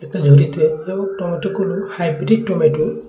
ঝুড়িতে টমেটোগুলো hybrid tomato.